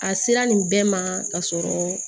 A sera nin bɛɛ ma ka sɔrɔ